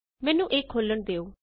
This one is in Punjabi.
ਮੈਨੂੰ ਇਹ ਖੋਲ੍ਹਣ ਦਿਉ